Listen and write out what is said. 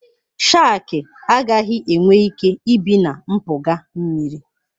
Shakị agaghị enwe ike ibi na mpụga mmiri.